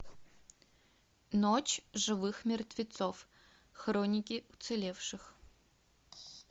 ночь живых мертвецов хроники уцелевших